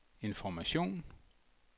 information